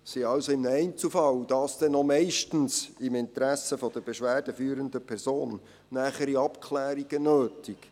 Es sind also im Einzelfall, und dies meistens im Interesse der beschwerdeführenden Person, nähere Abklärungen nötig.